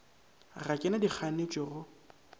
ga ke na dikganetšo go